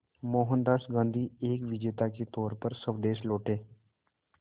मोहनदास गांधी एक विजेता के तौर पर स्वदेश लौटे